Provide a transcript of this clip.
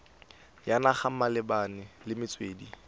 ya naga malebana le metswedi